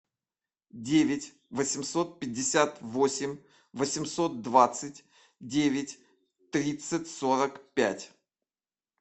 девять восемьсот пятьдесят восемь восемьсот двадцать девять тридцать сорок пять